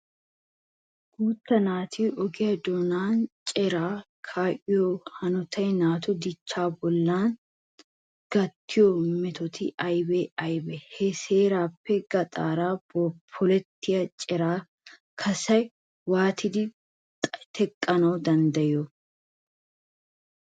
Guutta naati oge doonan ceeriya kaa'iyo hanotay naatu dichchaa bollan gattiyo metoti aybee aybee? Ha seeraappe gaxaara polettiya ceeriya kaassaa waatidi teqqanawu danddayettii?